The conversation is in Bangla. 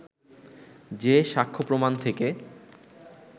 যে সাক্ষ্যপ্রমাণ থেকে